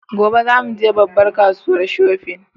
Gobe za mu je babbar kasuwa shofin